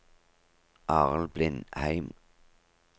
Arild Blindheim